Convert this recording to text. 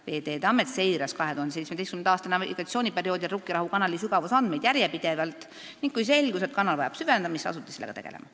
Veeteede Amet seiras 2017. aasta navigatsiooniperioodil Rukkirahu kanali sügavusandmeid järjepidevalt ning kui selgus, et kanal vajab süvendamist, asuti sellega tegelema.